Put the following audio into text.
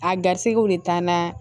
A garisigɛw de taa na